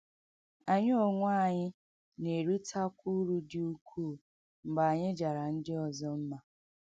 Anyị onwe anyị na - eritekwa uru dị ukwuu mgbe anyị jara ndị ọzọ mma.